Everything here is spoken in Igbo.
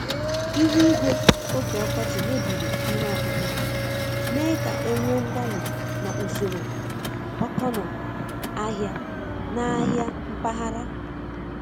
Ihu igwe oge ọkọchị mebiri ihe ọkụkụ, mee ka e nwee mgbanwe na usoro ọkọnọ ahịa n’ahịa mpaghara.